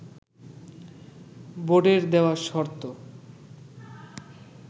বোর্ডের দেয়া শর্ত